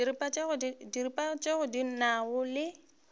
diripa tše di nago le